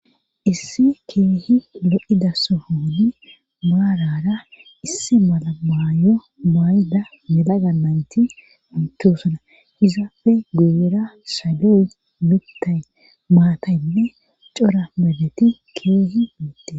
Isse keehi lo'ida sohooni maarara isse malamaayo mayda meda ganayti unthosona izaafe guyera salyoy mittay maataynne cora meleti keehi miitte